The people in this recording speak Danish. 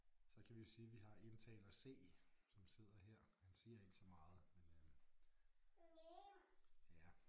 Så kan vi jo sige vi har indtaler C som sidder her han siger ikke så meget men øh ja